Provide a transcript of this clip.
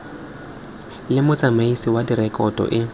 le motsamaisi wa direkoto e